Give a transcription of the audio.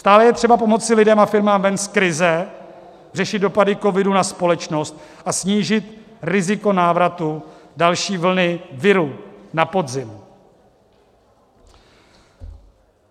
Stále je třeba pomoci lidem a firmám ven z krize, řešit dopady covidu na společnost a snížit riziko návratu další vlny viru na podzim.